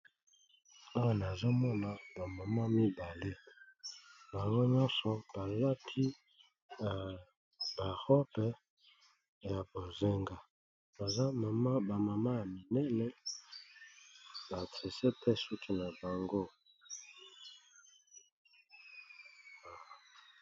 Awa nazomona bamama mibale bango nyonso balati na barobe ya bozenga baza mamabamama ya minene ba tresete suki na bango.